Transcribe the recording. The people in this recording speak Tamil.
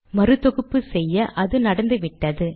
மறு தொகுப்பு செய்ய அது நடந்துவிட்டது